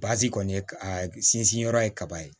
kɔni a sinsin yɔrɔ ye kaba ye